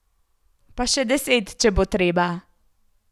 Pa še deset, če bo treba.